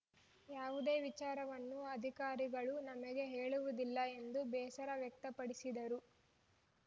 ಯಾವುದೇ ವಿಚಾರವನ್ನು ಅಧಿಕಾರಿಗಳು ನಮಗೆ ಹೇಳುವುದಿಲ್ಲ ಎಂದು ಬೇಸರ ವ್ಯಕ್ತಪಡಿಸಿದರು